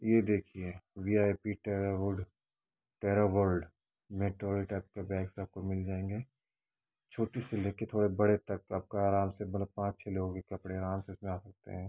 ये देखिये VIP terra wood terra world bags आपको मिल जायेंगे | छोटे से लेके थोड़े बड़े तक आपका आराम से मतलब पांच छे लोगो के कपडे आराम से इसमें आ सकते हैं |